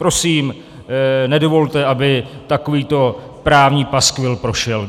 Prosím, nedovolte, aby takovýto právní paskvil prošel.